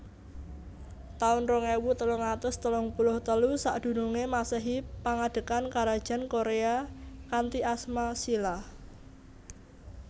taun rong ewu telung atus telung puluh telu Sakdurunge Masehi Pangadegan Karajan Korea kanthi asma Shilla